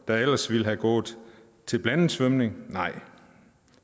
der ellers ville være gået til blandet svømning nej